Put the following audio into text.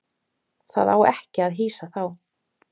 Það á ekki að hýsa þá.